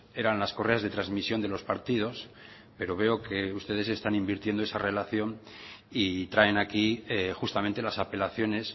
eran las correas de transmisión de los partidos pero veo que ustedes están invirtiendo esa relación y traen aquí justamente las apelaciones